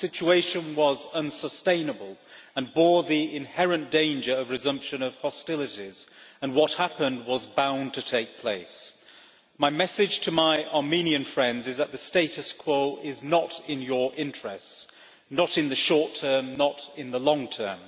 The situation was unsustainable and bore the inherent danger of the resumption of hostilities. What happened was bound to take place. My message to my Armenian friends is that the status quo is not in your interests not in the short term, not in the long term.